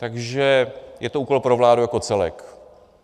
Takže je to úkol pro vládu jako celek.